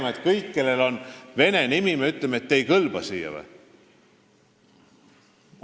Kas me peame kõigile, kellel on vene nimi, ütlema, et te ei kõlba siia?